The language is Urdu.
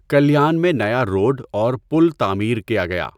کلیان میں نیا روڈ اووَر پل تعمیر کیا گیا۔